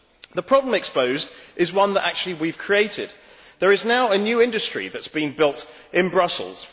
The problem exposed is one that, actually, we have created. There is now a new industry that has been built in Brussels.